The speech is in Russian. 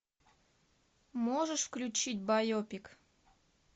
можешь включить байопик